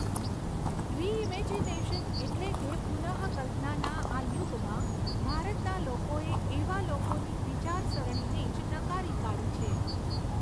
Reimagination એટલે કે પુનઃકલ્પનાના આ યુગમાં ભારતના લોકોએ એવા લોકોની વિચારસરણીને જ નકારી કાઢી છે.